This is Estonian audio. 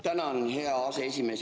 Tänan, hea aseesimees!